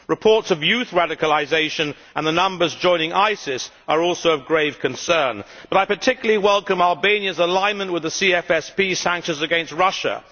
Reports of youth radicalisation and the numbers joining ISIS are also of grave concern, but I particularly welcome Albania's alignment with the CFSP sanctions against Russia.